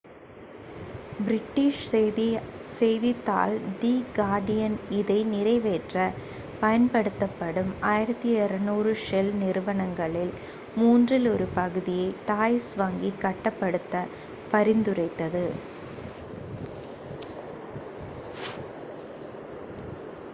British செய்தித்தாள் the Guardian இதை நிறைவேற்ற பயன்படுத்தப்படும் 1200 ஷெல் நிறுவனங்களில் மூன்றில் ஒரு பகுதியை டாய்ச் வங்கி கட்டுப்படுத்த பரிந்துரைத்தது